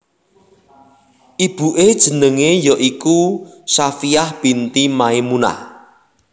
Ibuke jenenge ya iku Shafiyyah binti Maimunah